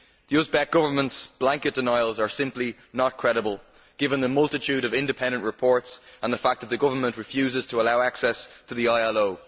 The Uzbek Government's blanket denials are simply not credible, given the multitude of independent reports and the fact that the government refuses to allow access to the ILO.